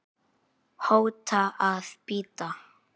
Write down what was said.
hóta að bíta